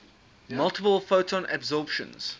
multiple photon absorptions